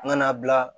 N ka na bila